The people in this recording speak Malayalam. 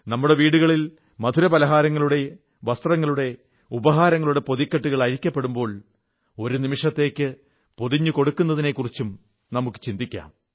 നമ്മുടെ വീടുകളിൽ മധുരപലഹാരങ്ങളുടെ വസ്ത്രങ്ങളുടെ ഉപഹാരങ്ങളുടെ പൊതിക്കെട്ടുകൾ അഴിക്കുമ്പോൾ ഒരു നിമിഷത്തേക്ക് പൊതിഞ്ഞു കൊടുക്കുന്നതിനെക്കുറിച്ചും ചിന്തിക്കാം